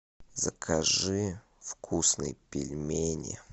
закажи вкусные пельмени